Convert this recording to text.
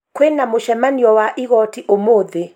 Kwĩ na mũcemanio wa igooti ũmũthi.